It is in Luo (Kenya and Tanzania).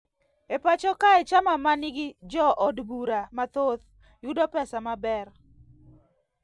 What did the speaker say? E pacho kae chama mangi jo od bura mathoth yudo pesa maber